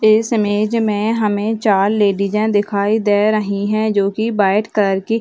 इस इमेज में हमें चार लेडीजे दिखाई दे रही है जो की बैठ करके --